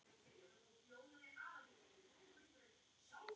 Síðan hélt hún áleiðis til